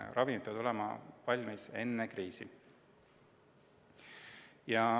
Ravimid peavad olema valmis enne kriisi.